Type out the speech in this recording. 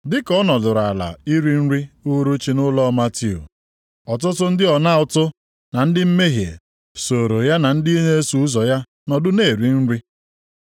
Dị ka ọ nọdụrụ ala iri nri uhuruchi nʼụlọ Matiu, ọtụtụ ndị ọna ụtụ na ndị mmehie sooro ya na ndị na-eso ụzọ ya nọdụ na-eri nri.